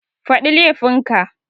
Faɗi laifin ka